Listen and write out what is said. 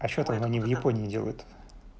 а что тогда они в японии делают